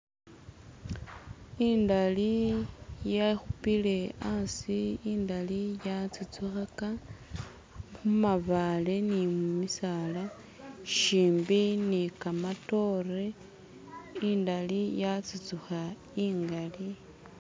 Indali yekhupile hasi indali ya tsutsugakha mumabaale ni mumisaala shimbi ni kamatore indali ya tsutsukha ingali